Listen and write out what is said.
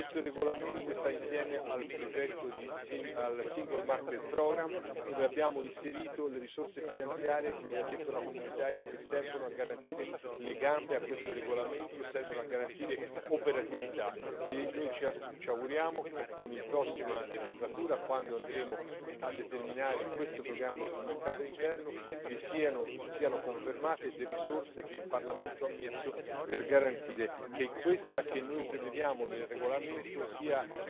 Questo regolamento sta insieme al progetto del Single Market programme, dove abbiamo inserito le risorse finanziarie, come ha detto la Commissaria, che servono a garantire le gambe a questo regolamento, servono a garantire operatività e noi ci auguriamo che con la prossima legislatura, quando andremo a determinare questo programma sul mercato interno, siano confermate le risorse che il Parlamento ha messo per garantire che questa che noi prevediamo nel regolamento sia